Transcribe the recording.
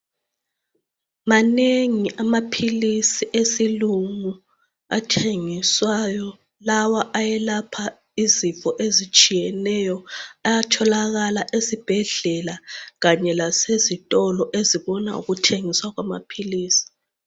Manengi amaphilisi esilungu athengiswayo lawa ayelapha izifo ezitshiyeneyo ayatholakala ezibhedlela kanye lezitolo ezibona ngokuthengisa kwamaphilisi.